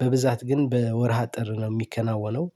በብዛት ግን በወርሃ ጥር ነው የሚከናወነው።